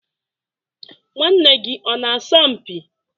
nwanne gị ọ na-asọ mpi?